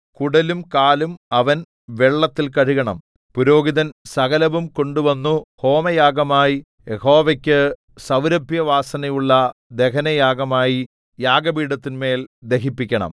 കുടലും കാലും അവൻ വെള്ളത്തിൽ കഴുകണം പുരോഹിതൻ സകലവും കൊണ്ടുവന്നു ഹോമയാഗമായി യഹോവയ്ക്കു സൗരഭ്യവാസനയുള്ള ദഹനയാഗമായി യാഗപീഠത്തിന്മേൽ ദഹിപ്പിക്കണം